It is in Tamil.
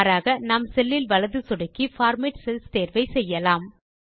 மாறாக நாம் செல்லில் வலது சொடுக்கி பார்மேட் செல்ஸ் தேர்வை செய்யலாம்